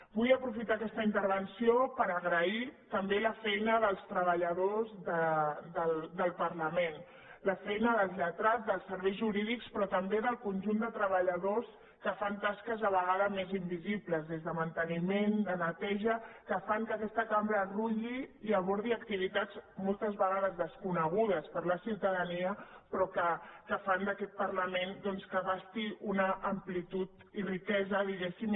vull aprofitar aquesta intervenció per agrair també la feina dels treballadors del parlament la feina dels lletrats dels serveis jurídics però també del conjunt de treballadors que fan tasques de vegades més in·visibles des de manteniment de neteja que fan que aquesta cambra rutlli i abordi activitats moltes vega·des desconegudes per la ciutadania però que fan que aquest parlament doncs abasti una amplitud i rique·sa diguéssim